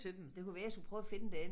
Det kunne være jeg skulle prøve at finde den